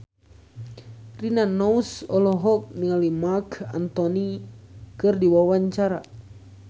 Rina Nose olohok ningali Marc Anthony keur diwawancara